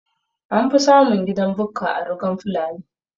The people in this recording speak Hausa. Anfi samun gidan Bukka a rugan fulani